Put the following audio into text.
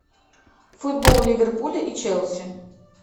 футбол ливерпуля и челси